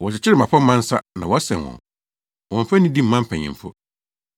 Wɔkyekyere mmapɔmma nsa na wɔasɛn wɔn; wɔmmfa nidi mma mpanyimfo.